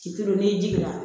Ci kelen n'i jiginna